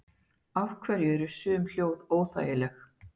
af hverju eru sum hljóð óþægileg